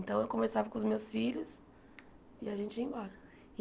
Então eu conversava com os meus filhos e a gente ia embora.